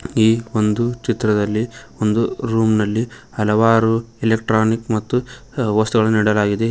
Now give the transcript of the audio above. ಈ ಒಂದು ಚಿತ್ರದಲ್ಲಿ ಒಂದು ರೂಮ್ನಲ್ಲಿ ಹಲವಾರು ಎಲೆಕ್ಟ್ರಾನಿಕ್ ಮತ್ತು ವಸ್ತುಗಳನ್ನು ಇಡಲಾಗಿದೆ.